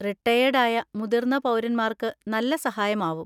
Retired ആയ മുതിർന്ന പൗരന്മാർക്ക് നല്ല സഹായമാവും.